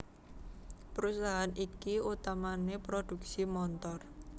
Perusahaan iki utamané prodhuksi montor